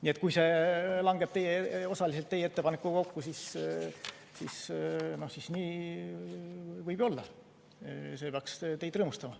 Nii et kui see langeb osaliselt teie ettepanekutega kokku, siis see peaks teid rõõmustama.